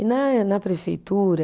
E né, na prefeitura